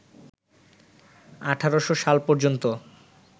১৮০০ সাল পর্যন্ত